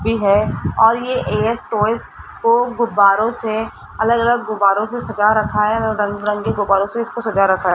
भी है और ये एयस टॉयस् को गुब्बारों से अलग अलग गुब्बारों से सजा रखा है अलगलग रंक रंग के गुब्बारों से इसको सजा रखा है।